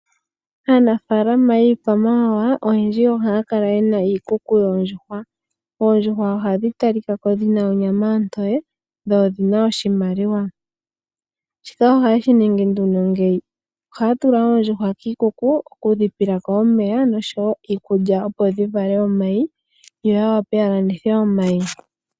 Aanafaalama yiikwamawawa oyendji ohaa kala yena iikuku yoondjuhwa. Oondjuhwa ohadhi talikako onga dhina onyama ontoye, dho odhina oshimaliwa. Ohaya tula oondjuhwa kiikuku ,tayedhi pelemo iikulya nomeya yo yowape okuvala omayi.